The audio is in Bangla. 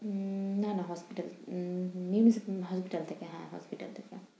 উম না না hospital থেকে উম hospital থেকে হ্যাঁ hospital থেকে।